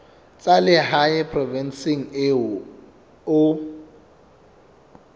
tsa lehae provinseng eo o